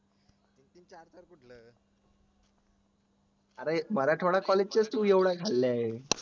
अरे मराठवाड्या college च्या तू एवढ्या खाल्ल्यास